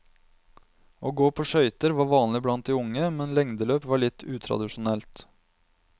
Å gå på skøyter var vanlig blant de unge, men lengdeløp var litt utradisjonelt.